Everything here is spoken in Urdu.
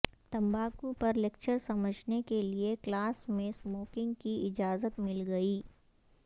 تمباکو پر لیکچر سمجھنے کیلئے کلاس میں سموکنگ کی اجازت مل گئی